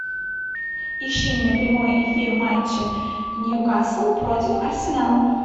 ищи мне прямой эфир матча ньюкасл против арсенала